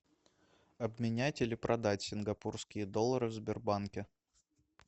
обменять или продать сингапурские доллары в сбербанке